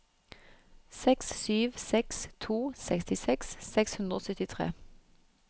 seks sju seks to sekstiseks seks hundre og syttitre